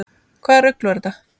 Hvaða rugl var þetta nú?